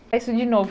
É isso de novo.